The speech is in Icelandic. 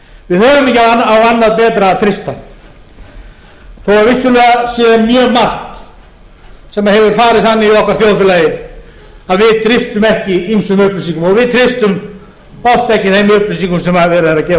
við höfum ekki á annað betra að treysta þó vissulega sé mjög margt sem hefur farið þannig í okkar þjóðfélagi að við treystum ekki ýmsum upplýsingum og við treystum alls ekki þeim upplýsingum sem verið er að gefa